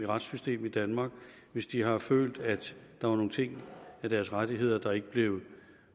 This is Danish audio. retssystem i danmark hvis de har følt at der var nogle ting i deres rettigheder der ikke blev